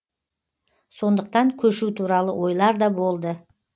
сондықтан көшу туралы ойлар да болды